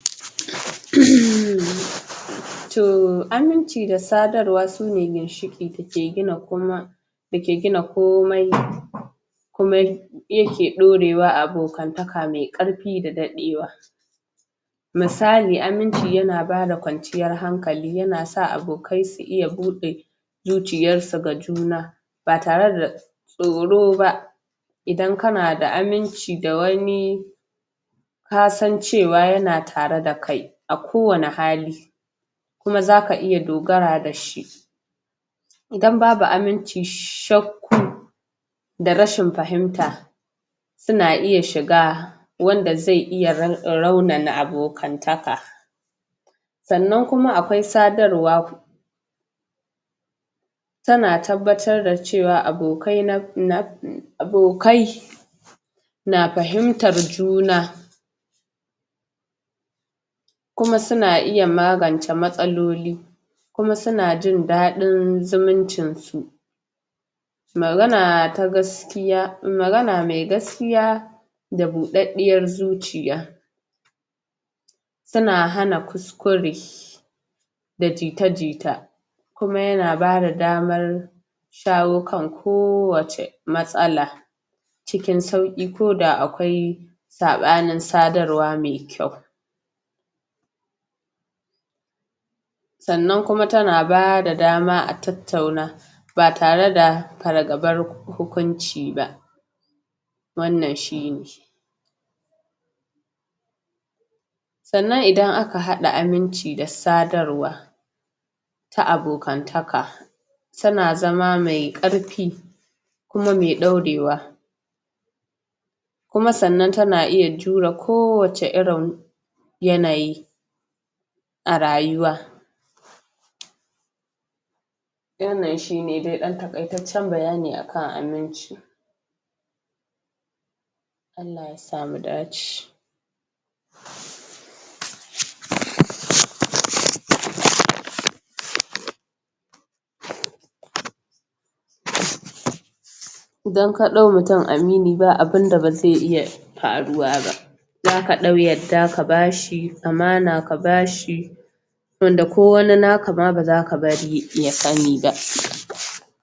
Too, aminci da sadarwa sune ginshiki dake gina komai Da ke gina komai Kuma Kuma yake dorewa abokantaka me karfi da dadewa Musali aminci yana bada kwanciyar hankali yanasa abokai su iya bude zuciyarsu ga juna ba tare da Tsoro ba Idan kana da wani Kasan cewa yana tare da kai a kowane hali Kuma zaka iya dogara dashi Idan babu aminci, shakku Da rashin fahimta tana iya shiga Wanda zai iya raunana abokantaka Sannan kuma akwai sadarwa Tana tabbatar da cewa abokai Abokai na fahimtar juna Kuma suna iya magance matsaloli Kuma suna jin dadin zumuncinsu Magana ta gaskiya, magana mai gaskiya Da budaddiyar zuciya Tana hana kuskure Da jita-jita Kuma yana bada damar Shawo kan kowacce matsala Cikin sauki ko da akwai Sabanin sadarwa me kyau Sannan kuma tana bayar da dama a tattauna BA tare da fargabar hukunci ba Wannan shine Sannan idan aka hada aminci da sadarwa Ta abokantaka Tana zama mai karfi Kuma mai dorewa Kuma sannan tana iya jure ko wace irin Yanayi A rayuwa Wannan shine dai dan takaitaccen bayani akan aminci Allah aysa mu dace Idan ka dau mutum amini ba abnda ba zai iya faruwa ba Zaka dau yadda aka bashi, amana ka bashi Wanda ko wani naka ma bazaka bari ya sani ba